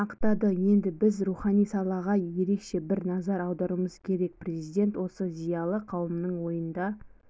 ақтады енді біз рухани салаға ерекше бір назар аударуымыз керек президент осы зиялы қауымның ойында